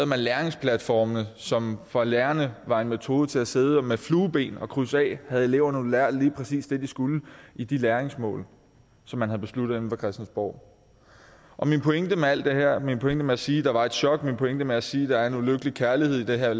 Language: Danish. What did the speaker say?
man læringsplatformene som for lærerne var en metode til at sidde med flueben og krydse af om eleverne havde lært lige præcis det de skulle i de læringsmål som man havde besluttet inde på christiansborg min pointe med alt det her min pointe med at sige at der var et chok min pointe med at sige at der var en ulykkelig kærlighed i den her